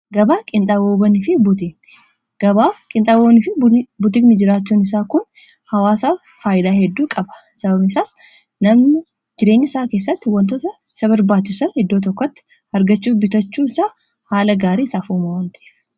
gabaa qinxaawaanii fi butiigin jiraachuun isaa kun hawaasa faayidaa hedduu qaba sababnii isaas namni jireenyaa isaa keessatti wantoota isaa barbaachiisan iddoo tokkotti argachuu bitachuu isaa haala gaarii isaaf uuma waan taheef